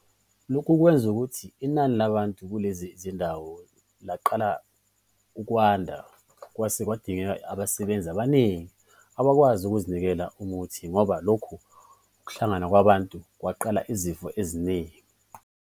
Lokhu kwenze ukuthi inani labantu kulezi zindawo laqala ukwanda, kwase kwadingeka abasebenzi abaningi abakwazi ukunikeza umuthi ngoba lokhu ukuhlangana kwabantu kwadala izifo eziningi.